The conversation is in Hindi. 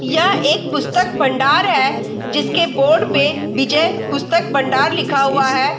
यह एक पुस्तक भण्डार है जिसके बोर्ड पे विजय पुस्तक भण्डार लिखा हुआ है।